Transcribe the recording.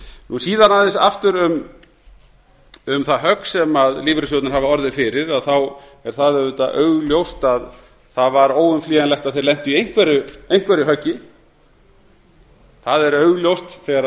hlutanna síðan aðeins aftur um þaðhögg sem lífeyrissjóðirnir hafa orðið fyrir þá er það auðvitað augljóst að það var óumflýjanlegt að þeir lentu í einhverju höggi það er augljóst þegar